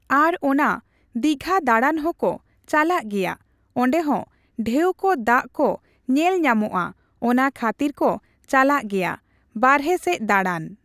ᱟᱨ ᱚᱱᱟ ᱫᱤᱜᱷᱟ ᱫᱟᱬᱟᱱ ᱦᱚᱸᱠᱚ ᱪᱟᱞᱟᱜ ᱜᱮᱭᱟ᱾ᱚᱸᱰᱮ ᱦᱚᱸ ᱰᱷᱮᱣ ᱠᱚ ᱫᱟᱜ ᱠᱚ ᱧᱮᱞ ᱧᱟᱢᱚᱜᱼᱟ ᱚᱱᱟ ᱠᱷᱟᱛᱤᱨ ᱠᱚ ᱪᱟᱞᱟᱜ ᱜᱮᱭᱟ ᱵᱟᱨᱦᱚ ᱥᱮᱡ ᱫᱟᱬᱟᱱ᱾